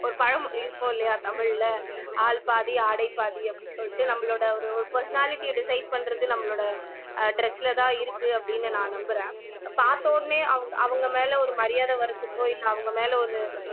ஒரு பழமொழி இருக்கும் இல்லையா தமிழ்ல ஆள் பாதி ஆடை பாதி அப்படின்னு சொல்லிட்டு நம்மளோட ஒரு ஒரு personality ய decide பண்றது நம்மளோட அஹ் dress லதான் இருக்கு அப்படின்னு நான் நம்புறேன் பார்த்த உடனே அவங் அவங்க மேல ஒரு மரியாதை வர்றதுக்கோ இல்லை அவங்க மேல ஒரு